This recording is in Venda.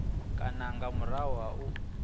kana nga murahu ha u